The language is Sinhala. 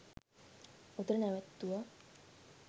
ඔතන නැවැත්තුවා.